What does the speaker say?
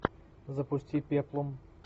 запусти пеплум